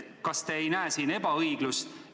Kas te ei näe siin ebaõiglust?